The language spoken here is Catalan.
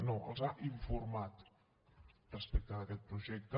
no els ha informat respecte d’aquest projecte